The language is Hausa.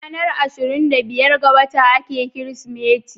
Ranar 25 ga wata ake kirismeti